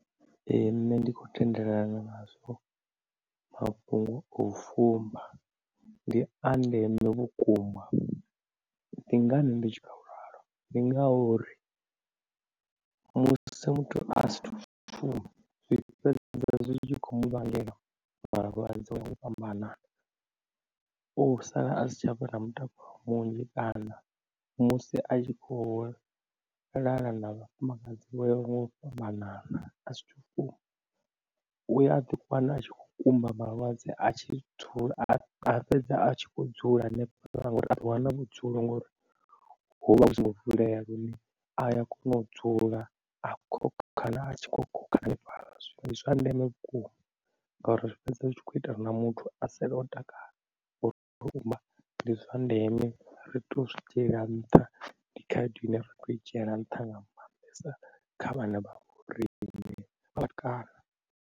Ee nṋe ndi khou tendelana nazwo, mafhungo o fumba ndi a ndeme vhukuma, ndi ngani ndi tshi kha ralo ndi ngauri musi muthu a sa athu fumba zwi fhedza zwi tshi khou mu vhangela malwadze nga u fhambanana. U sala a si tshavha na mutakalo munzhi kana musi a tshi kho lala na vhafumakadzi vho yaho ngau fhambanana u ya a ḓi kana a tshi kho kumba malwadze a tshithu a fhedza a tshi kho dzula hanefho ngori a ḓi wana vhudzulo ngori hovha hu singo vulea lune a kona u dzula a khokhana a tshi kho khokhana hanefhala, ndi zwa ndeme vhukuma ngauri zwi fhedza zwi tshi kho ita ri na muthu a sala o takala. U amba ndi zwa ndeme ri tea u zwi dzhiela nṱha ndi khaedu ine ra kho i dzhiela nṱha nga maanḓesa kha vhana vha vho rine vha vhatukana.